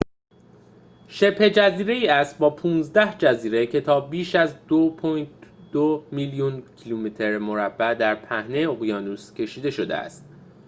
شبه‌جزیره‌ای است با ۱۵ جزیره که تا بیش از ۲.۲ میلیون کیلومتر مربع در پهنه اقیانوس کشیده شده است